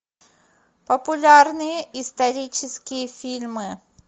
популярные исторические фильмы